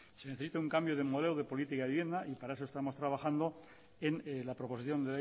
se necesita un cambio del modelo de política de vivienda y para eso estamos trabajando en la proposición